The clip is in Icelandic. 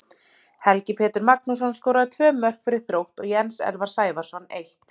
Helgi Pétur Magnússon skoraði tvö mörk fyrir Þrótt og Jens Elvar Sævarsson eitt.